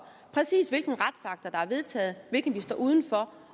præcis hvilke retsakter der er vedtaget og hvilke vi står uden for